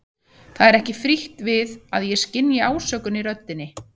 Það er ekki frítt við að ég skynji ásökun í röddinni.